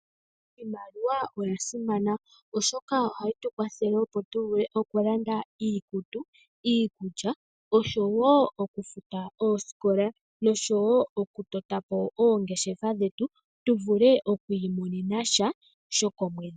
Iimaliwa oya simana, oshoka ohayi tu kwathele opo tu vule okulanda iikutu, iikulya osho wo okufuta oosikola nosho wo okutota po oongeshefa dhetu tu vule oku imonena sha shokomwedhi.